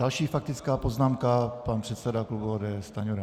Další faktická poznámka, pan předseda klubu ODS Stanjura.